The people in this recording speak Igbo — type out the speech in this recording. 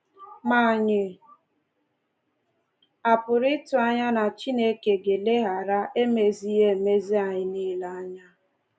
Ma ànyị a pụrụ ịtụ anya na Chineke ga-eleghara emezighị emezi anyị nile anya?